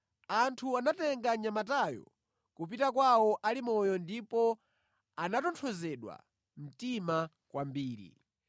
Anthu anatenga mnyamatayo kupita kwawo ali moyo ndipo anatonthozedwa mtima kwambiri.